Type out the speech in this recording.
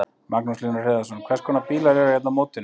Magnús Hlynur Hreiðarsson: Hvers konar bílar eru hérna á mótinu?